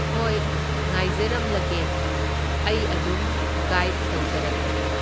ꯍꯣꯏ ꯉꯥꯏꯖꯔꯝꯂꯒꯦ, ꯑꯩ ꯑꯗꯨꯝ ꯒꯥꯏꯗ ꯇꯧꯖꯔꯛꯂꯒꯦ꯫